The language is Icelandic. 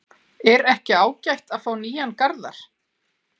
Er ekki ágætt að fá nýjan Garðar?